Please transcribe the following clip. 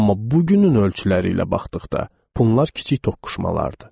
Amma bugünün ölçüləri ilə baxdıqda, bunlar kiçik toqquşmalardır.